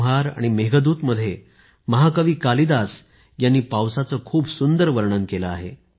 ऋतुसंहार आणि मेघदूत मध्ये महाकवी कालिदास यांनी पावसाचे खूप सुंदर वर्णन केलं आहे